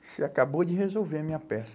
Você acabou de resolver a minha peça.